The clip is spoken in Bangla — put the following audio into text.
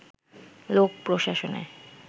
লোক প্রশাসনে